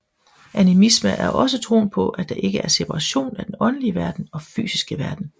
Animisme er også troen på at der ikke er separation af den åndelige verden og fysiske verden